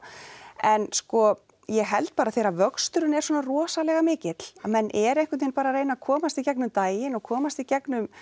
en sko ég held bara þegar vöxturinn er svona rosalega mikill að menn eru bara einhvern veginn að reyna að komast í gegnum daginn og komast í gegnum